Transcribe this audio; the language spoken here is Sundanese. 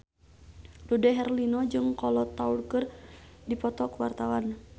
Dude Herlino jeung Kolo Taure keur dipoto ku wartawan